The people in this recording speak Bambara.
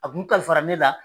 A kun kalifara min na